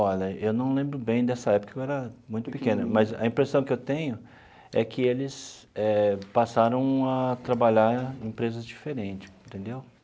Olha, eu não lembro bem dessa época, porque eu era muito pequeno, mas a impressão que eu tenho é que eles eh passaram a trabalhar em empresas diferentes, entendeu?